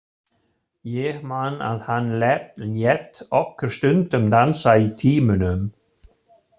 Ég man að hann lét okkur stundum dansa í tímunum.